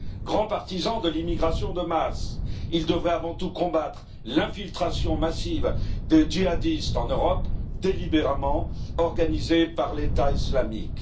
Grands partisans de l'immigration de masse, ils devraient avant tout combattre l'infiltration massive des djihadistes en Europe, délibérément organisée par l'État islamique.